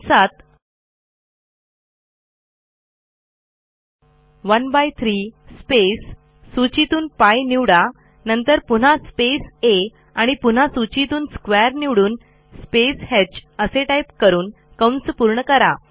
volume कंसात 13 space सूचीतून π निवडा नंतर पुन्हा स्पेस आ आणि पुन्हा सूचीतून स्क्वेअर निवडून स्पेस ह असे टाईप करून पूर्ण करा